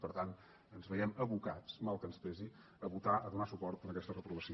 per tant ens veiem abocats mal que ens pesi a vota a donar suport a aquesta reprovació